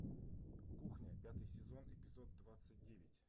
кухня пятый сезон эпизод двадцать девять